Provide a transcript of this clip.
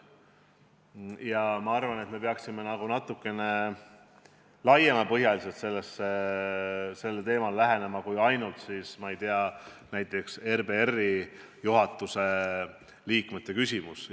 Aga ma arvan, et peaksime sellele teemale lähenema natuke laiapõhjalisemalt kui ainult, ma ei tea, näiteks RBR-i juhatuse liikmete küsimusega piirdudes.